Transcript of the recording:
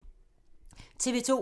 TV 2